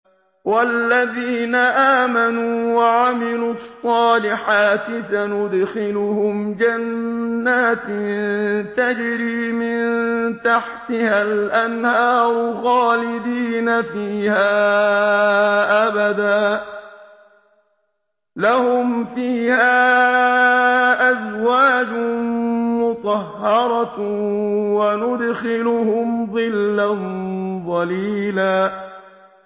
وَالَّذِينَ آمَنُوا وَعَمِلُوا الصَّالِحَاتِ سَنُدْخِلُهُمْ جَنَّاتٍ تَجْرِي مِن تَحْتِهَا الْأَنْهَارُ خَالِدِينَ فِيهَا أَبَدًا ۖ لَّهُمْ فِيهَا أَزْوَاجٌ مُّطَهَّرَةٌ ۖ وَنُدْخِلُهُمْ ظِلًّا ظَلِيلًا